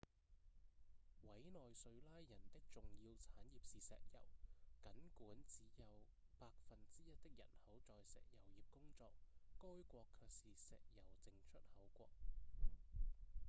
委內瑞拉人的重要產業是石油僅管只有百分之一的人口在石油業工作該國卻是石油淨出口國